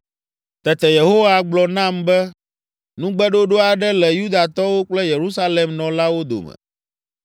Tete Yehowa gblɔ nam be, “Nugbeɖoɖo aɖe le Yudatɔwo kple Yerusalem nɔlawo dome.